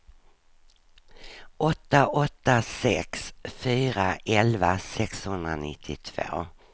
åtta åtta sex fyra elva sexhundranittiotvå